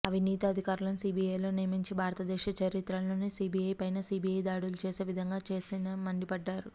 అవినీతి అధికారులను సీబీఐలో నియమించి భారత దేశ చరిత్రలోనే సీబీఐ పైన సీబీఐ దాడులు చేసే విధంగా చేశారని మండిపడ్డారు